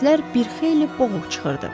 Səslər bir xeyli boğuq çıxırdı.